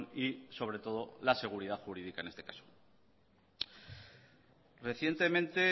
y sobre todo la seguridad jurídica en este caso recientemente